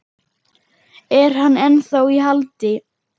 Er hann ennþá í haldi?